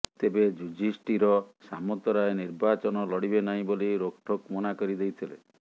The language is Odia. ତେବେ ଯୁଧିଷ୍ଠିର ସାମନ୍ତରାୟ ନିର୍ବାଚନ ଲଢିବେ ନାହିଁ ବୋଲି ରୋକଠୋକ୍ ମନାକରିଦେଇଥିଲେ